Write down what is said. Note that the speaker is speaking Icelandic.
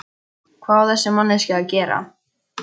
Hvað á þessi manneskja að gera?